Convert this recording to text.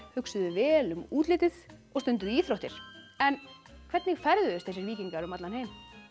hugsuðu vel um útlitið og stunduðu íþróttir en hvernig ferðuðust þessir víkingar um allan heim